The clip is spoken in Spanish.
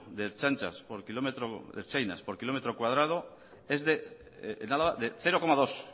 de ertzainas por kilómetro cuadrado es de cero coma dos